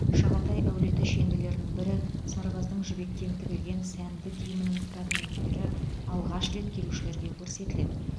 шағатай әулеті шенділерінің бірі сарбаздың жібектен тігілген сәнді киімінің фрагменттері алғаш рет келушілерге көрсетіледі